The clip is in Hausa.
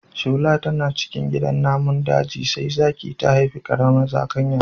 Shola tana cikin gidan namun daji sai zaki ta haifi ƙaramar zakanya.